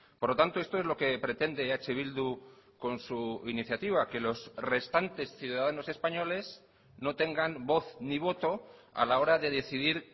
por lo tanto esto es lo que pretende eh bildu con su iniciativa que los restantes ciudadanos españoles no tengan voz ni voto a la hora de decidir